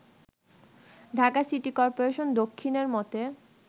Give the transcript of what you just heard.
Dhaka city corporation দক্ষিণের মতে